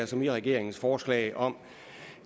som i regeringens forslag om